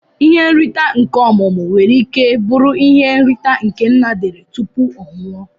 Ihe nrita nke ọmumu nwere ike buru na ihe nrita nke nna dere tupu ọnwụọ.